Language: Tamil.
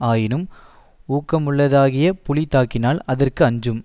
ஆயினும் ஊக்கமுள்ளதாகியப் புலி தாக்கினால் அதற்கு அஞ்சும்